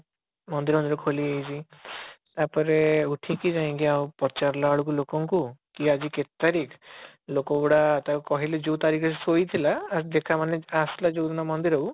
ମନ୍ଦିର ଖୋଲି ଯାଇଛି ତାପରେ ଉଠିକି ଯାଇକି ଆଉ ପଚାରିଲା ବେଳକୁ ଲୋକ ଙ୍କୁ କି ଆଜି କେତେ ତାରିଖ ଲୋକ ଗୁଡାକ କହିଲେ ଯୋଉ ତାରିଖ ରେ ସେ ଶୋଇଥିଲା ଆସିଲା ଯୋଉ ଦିନ ମନ୍ଦିର କୁ